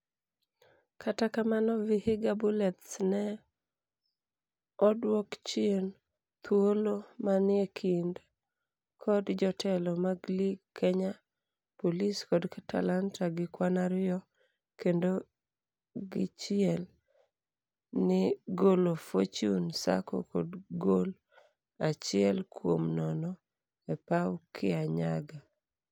kata kamano vihiga bullets ne odwo chien thuolo manie kind kod jotelo mag lig Kenya Police kod Talanta gi kwan ariyo kendo gichiel ni golo Fortune sacco kod gol achiel kuom nono epaw Kianyaga